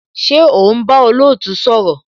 Ṣé o ń bá olootu sọ̀rọ̀?